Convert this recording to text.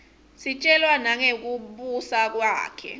sitjelwa nangekubusa kwakhe